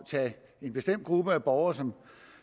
tage en bestemt gruppe af borgere som